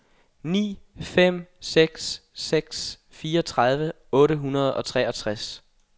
ni fem seks seks fireogtredive otte hundrede og treogtres